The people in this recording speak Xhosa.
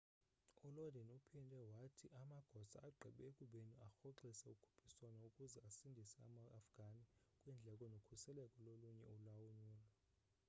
u lodin uphinde wathi amagosa agqibe ekubeni arhoxise ukhuphiswano ukuze asindise ama afghani kwiindleko nokhuseleko lolunye ulwanyulo